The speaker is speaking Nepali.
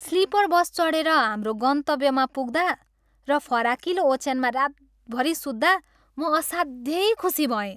स्लिपर बस चढेर आफ्नो गन्तब्यमा पुग्दा र फराकिलो ओछ्यानमा रातभरि सुत्दा म असाध्यै खुसी भएँ।